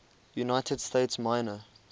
united states minor